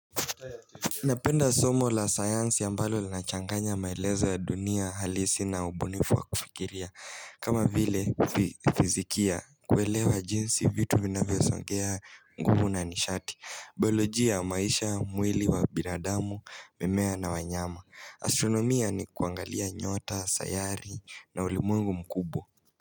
Napenda somo la sayansi ambalo linachanganya maelezo ya dunia halisi na ubunifu wa kufikiria kama vile fizikia kuelewa jinsi vitu vinavyosongea nguvu na nishati Biolojia maisha, mwili wa binadamu, mimmea na wanyama Astronomia ni kuangalia nyota, sayari na ulimwengu mkubwa.